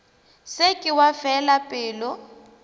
se ke wa fela pelo